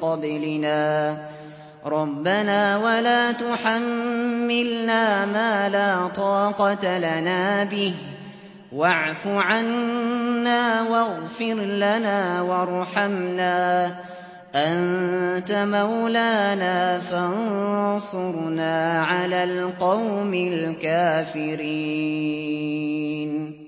قَبْلِنَا ۚ رَبَّنَا وَلَا تُحَمِّلْنَا مَا لَا طَاقَةَ لَنَا بِهِ ۖ وَاعْفُ عَنَّا وَاغْفِرْ لَنَا وَارْحَمْنَا ۚ أَنتَ مَوْلَانَا فَانصُرْنَا عَلَى الْقَوْمِ الْكَافِرِينَ